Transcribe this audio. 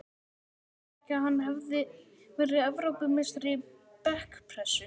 Sagði hún ekki að hann hefði verið Evrópumeistari í bekkpressu?